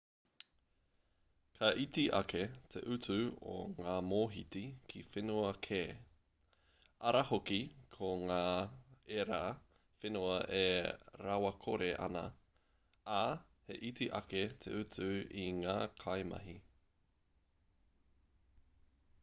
ka iti ake te utu o ngā mōhiti ki whenua kē ara hoki ko ngā ērā whenua e rawakore ana ā he iti ake te utu i ngā kaimahi